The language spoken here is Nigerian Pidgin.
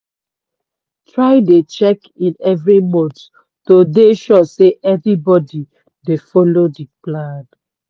try dey check in every month to dey sure say everybody dey follow de plan.